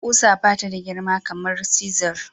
Kusa bata da girma kamar cisir.